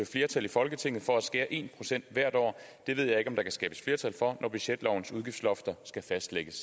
flertal i folketinget for at skære én procent hvert år det ved jeg ikke om der kan skabes flertal for når budgetlovens udgiftslofter skal fastlægges